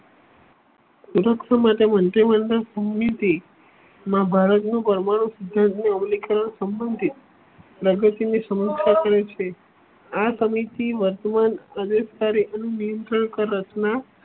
માટે મંત્રી માં ભારતનું પરમાણુ જનની અવલિકા સબંધિત પ્રગતિની સમૃત્તા કરે છે. આ સમિતિ વર્તમાન અનુસરી કે રચના